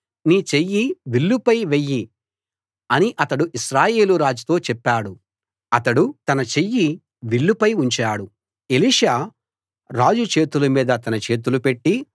నీ చెయ్యి విల్లుపై వెయ్యి అని అతడు ఇశ్రాయేలు రాజుతో చెప్పాడు అతడు తన చెయ్యి విల్లుపై ఉంచాడు ఎలీషా రాజు చేతుల మీద తన చేతులు పెట్టి